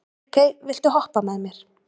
Ríkey, viltu hoppa með mér?